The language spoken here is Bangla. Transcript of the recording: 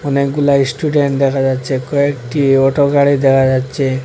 অনেকগুলা ইস্টুডেন্ট দেখা যাচ্ছে কয়েকটি অটো গাড়ি দেখা যাচ্ছে।